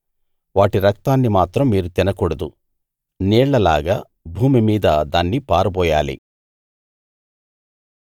వాటి రక్తాన్ని మాత్రం మీరు తినకూడదు నీళ్లలాగా భూమి మీద దాన్ని పారబోయాలి